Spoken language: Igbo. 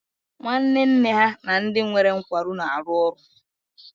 Nwanne nne ha na ndị nwere nkwarụ na-arụ ọrụ